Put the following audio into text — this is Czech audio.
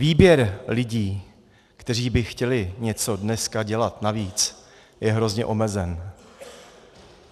Výběr lidí, kteří by chtěli něco dneska dělat navíc, je hrozně omezen.